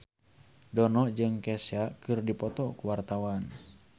Dono jeung Kesha keur dipoto ku wartawan